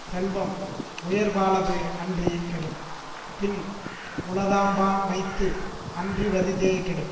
செல்வம் உயற்பாலது அன்றி கெடும் பின் உளதாம்பான்மைத்து அன்றி வறிதே கெடும்